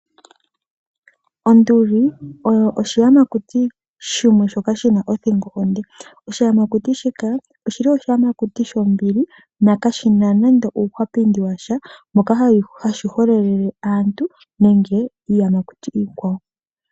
Onduli oyo oshiyamakuti shimwe shoka shina othingo onde, oshiyamakuti shika oshili oshiyamakuti shombili nokashina nando uuhwapindi washa moka hashi hwelele aantu nenge iiyamakuti iikwawo.